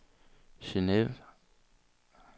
Geneve